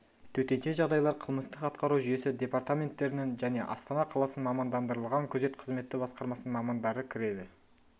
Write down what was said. төтенше жағдайлар қылмыстық атқару жүйесі департаменттерінің және астана қаласының мамандандырылған күзет қызметі басқармасының мамандары кіреді